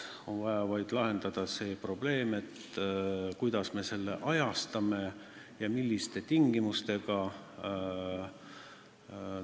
On vaja vaid lahendada see probleem, kuidas me selle ajastame ja millistel tingimustel me seda teeme.